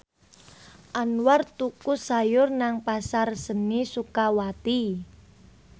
Anwar tuku sayur nang Pasar Seni Sukawati